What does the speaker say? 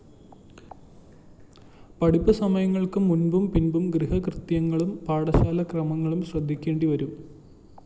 പഠിപ്പുസമയങ്ങള്‍ക്കു മുമ്പും പിമ്പും ഗൃഹകൃത്യങ്ങളും പാഠശാലക്രമങ്ങളും ശ്രദ്ധിയ്‌ക്കേണ്ടിവരും